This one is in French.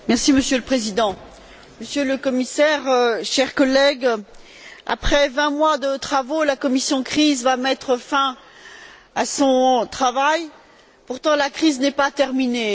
Monsieur le Président, Monsieur le Commissaire, chers collègues, après vingt mois de travaux, la commission CRIS va mettre fin à son travail, et pourtant la crise n'est pas terminée.